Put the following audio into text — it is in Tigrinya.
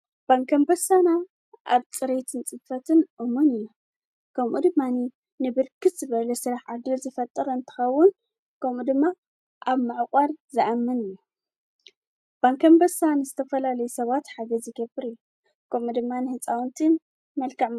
ባንኪ ኣንበሳና ኣብ ፅረይትን ፅፈትን እሙን እዩ ከምኡ ድማኒ ንብርክት ዝበለ ስለሕ ዕድል ዝፈጥር እንተኸውን ከምኡ ድማ ኣብ ዕቋር ዝኣምን እዩ ባንኪኣንበሳ ንዝተፈላለየ ሰባት ሓገዝ ዝገብር እዩ ከምኡ ድማ ንሕፃውንቲ መልካም።